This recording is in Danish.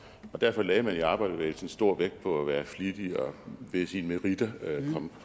og derfor lagde man i arbejderbevægelsen stor vægt på at være flittig og på ved sine meritter at komme